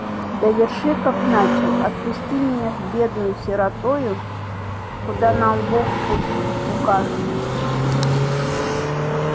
доверши как начал отпусти меня с бедною сиротою куда нам бог пусть укажет